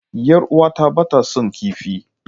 Yar uwata ba ta son kifi.